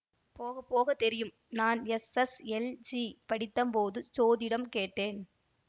போக போகத் தெரியும் நான் எஸ்எஸ்எல்சி படித்த போது சோதிடம் கேட்டேன்